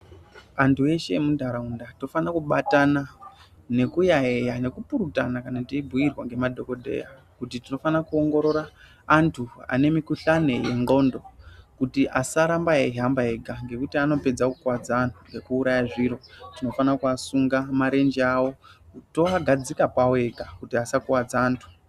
Antu eshe emu ndaraunda tofana kubatana neku yayiya neku purutana kana teyi bhuyirwa nge madhokodheya kuti tinofana ku ongorora antu ane mikuhlani ye ndxondo kuti asaramba eyi hamba ega ngekuti anopedza ku kwadza anhu neku uraya zviro tinofana ku asunga marenje awo to agadzika pawo ega kuti asa kwadza antu.